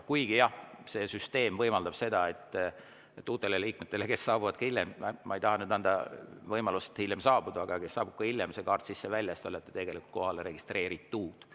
Kuigi jah, see süsteem võimaldab ka seda, et uued liikmed, kes saabuvad hiljem – ma ei taha anda võimalust hiljem saabuda –, kaart sisse-välja ja siis te olete tegelikult kohalolijaks registreeritud.